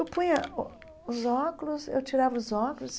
Eu punha o os óculos, eu tirava os óculos.